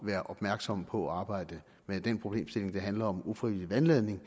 være opmærksom på at arbejde med den problemstilling det handler om nemlig ufrivillig vandladning